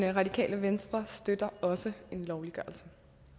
radikale venstre støtter også en lovliggørelse